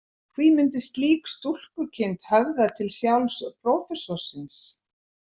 Hví myndi slík stúlkukind höfða til sjálfs prófessorsins?